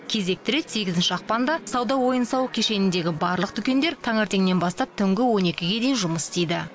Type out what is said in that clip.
кезекті рет сегізінші ақпанда сауда ойын сауық кешеніндегі барлық дүкендер таңертеңнен бастап түнгі он екіге дейін жұмыс істейді